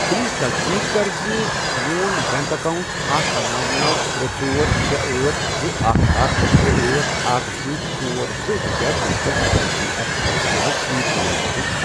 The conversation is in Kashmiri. پلیز تصدیق کَر زِ میون بینک اکاونٹ اکھ۔،نوَ، نوَ، ترے، ژور، شے، أٹھ، زٕ، اکھَ، اکھَ، ترے، أٹھ، اکھَ، زٕ، ژور، زٕ، ہٮ۪کیا ڈیجیٹل ادائیگی ایپ آکسِجنس سۭتۍ لنک گٔژھِتھ۔